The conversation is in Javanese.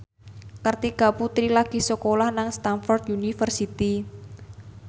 Kartika Putri lagi sekolah nang Stamford University